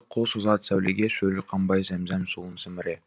қол созады сәулеге шөлі қанбай зәмзәм суын сіміре